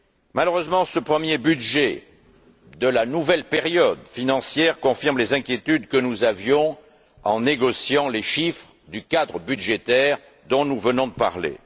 Malheureusement, ce premier budget de la nouvelle période financière confirme les inquiétudes que nous avions en négociant les chiffres du cadre budgétaire dont nous venons de parler.